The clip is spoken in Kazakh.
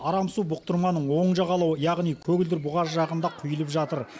арам су бұқтырманың оң жағалауы яғни көгілдір бұғаз жағында құйылып жатыр